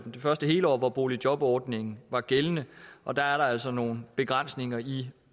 første hele år hvor boligjobordningen var gældende og der er der altså nogle begrænsninger i